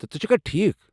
تہٕ، ژٕ چھكھا ٹھیٖک؟